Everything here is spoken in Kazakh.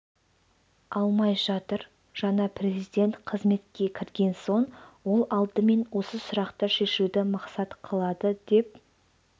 алмай жатыр жаңа президент қызметке кірген соң ол алдымен осы сұрақты шешуді мақсат қылады деп